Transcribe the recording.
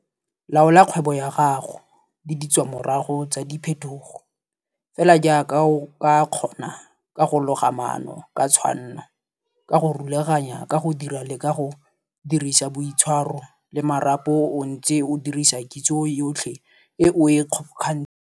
Laola kgwebo ya gago, le ditswamorago tsa diphethogo, fela jaaka o ka kgona ka go loga maano ka tshwanno, ka go rulaganya, ka go dira le ka go dirisa boitshwaro, le marapo o ntse o dirisa kitso yotlhe e o e kgobokantsheng.